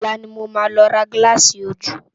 Òlá ni mó má lò rá gilási ójú